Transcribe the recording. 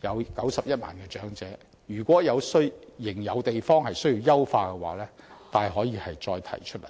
共91萬名長者受惠，如果仍有需要優化之處，大可以再提出來。